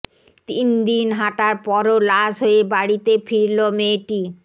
তিন দিন হাঁটার পরও লাশ হয়ে বাড়িতে ফিরলো মেয়েটি